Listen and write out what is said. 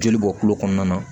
Joli bɔ kulo kɔnɔna na